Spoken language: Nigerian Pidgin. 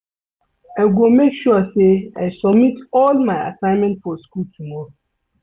I go make sure sey I submit all my assignment for skool tomorrow.